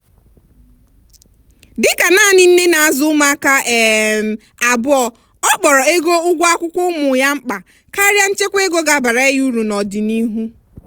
dịka nanị nne na-azụ ụmụaka um abụọ ọ kpọrọ ego ụgwọ akwụkwọ ụmụ ya mkpa karịa nchekwa ego ga abara ya uru n'ọdịnihu.